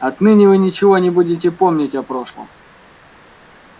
отныне вы ничего не будете помнить о прошлом